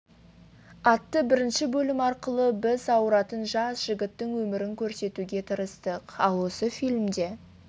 атты бірінші бөлім арқылы біз ауыратын жас жігіттің өмірін көрсетуге тырыстық ал осы фильмде